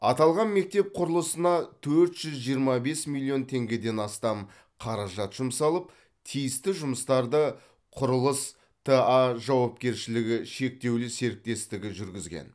аталған мектеп құрылысына төрт жүз жиырма бес миллион теңгеден астам қаражат жұмсалып тиісті жұмыстарды құрылыс т а жауапкершілігі шектеулі серіктестігі жүргізген